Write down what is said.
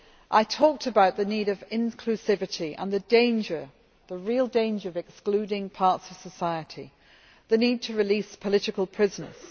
I talked about the need for inclusivity and the danger, the real danger of excluding parts of society, the need to release political prisoners.